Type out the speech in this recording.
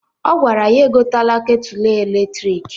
Ọ gwara ya egotela ketulu eletriki.